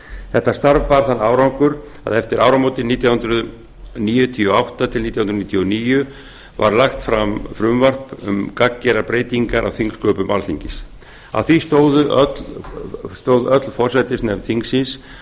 þetta starf bar þann árangur að eftir áramótin nítján hundruð níutíu og átta til nítján hundruð níutíu og níu var lagt fram frumvarp um gagngerar breytingar á þingsköpum alþingis að því stóð öll forsætisnefnd þingsins